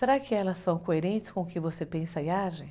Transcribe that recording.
Será que elas são coerentes com o que você pensa e age?